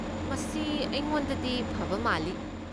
ꯃꯁꯤ ꯑꯩꯉꯣꯟꯗꯗꯤ ꯐꯕ ꯃꯥꯜꯂꯤ꯫